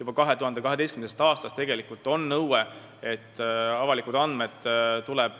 Juba 2012. aastast kehtib tegelikult nõue, et avalikud andmed tuleb